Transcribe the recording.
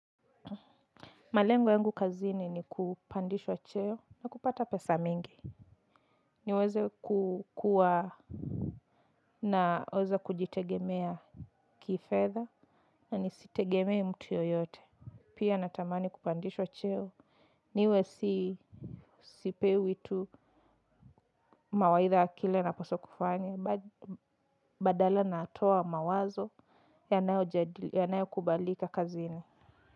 Malengo yangu kazini ni kupandishwa cheo na kupata pesa mingi. Niweze kukua na uwezo kujitegemea kifedha na nisitegemee mtu yoyote. Pia natamani kupandishwa cheo. Niwezi sipewi tu mawaidha ya kile napaswa kufanya badala natoa mawazo yanayo kubalika kazini.